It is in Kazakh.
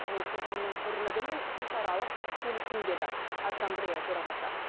ол қоғамның бірлігі мен ұлтаралық келісім деді ассамблея төрағасы